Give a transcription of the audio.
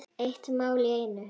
Eitt mál í einu.